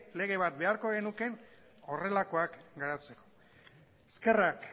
lege bat beharko genuke horrelakoak garatzeko eskerrak